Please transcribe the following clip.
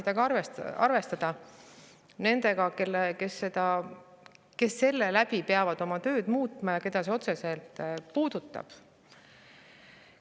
Võiks arvestada tagasisidega ja nendega, kes selle tõttu peavad oma tööd muutma ja keda see otseselt puudutab.